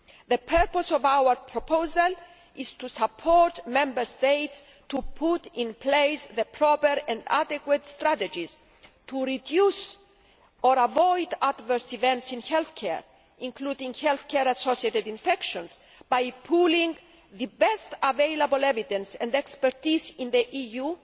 The purpose of our proposal is to help Member States to put in place the proper and adequate strategies to reduce or avoid adverse events in health care, including health care associated infections, by pooling the best available evidence and expertise in the EU